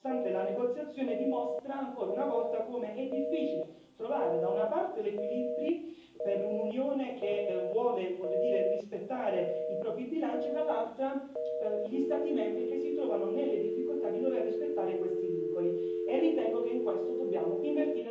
Sosterrò dunque l'accordo raggiunto, nonostante la negoziazione dimostri ancora una volta come è difficile trovare da una parte l'equilibrio per un'Unione che vuole rispettare il proprio bilancio e, dall'altra, gli Stati membri che si trovano nelle difficoltà di dover rispettare questi vincoli.